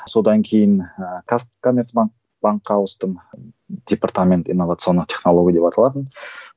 содан кейін ыыы казкомерцбанк банкқа ауыстым департамент инновационных технологий деп аталатын